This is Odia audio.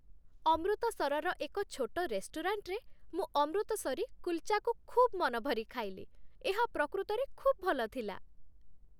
ଅମୃତସରର ଏକ ଛୋଟ ରେଷ୍ଟୁରାଣ୍ଟରେ ମୁଁ ଅମୃତସରୀ କୁଲ୍‌ଚାକୁ ଖୁବ୍ ମନଭରି ଖାଇଲି। ଏହା ପ୍ରକୃତରେ ଖୁବ୍ ଭଲ ଥିଲା।